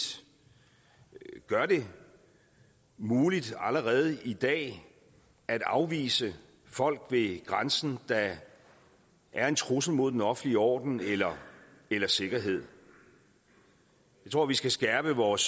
gør det muligt allerede i dag at afvise folk ved grænsen der er en trussel mod den offentlige orden eller eller sikkerhed jeg tror vi skal skærpe vores